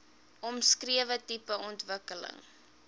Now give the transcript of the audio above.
omskrewe tipe ontwikkeling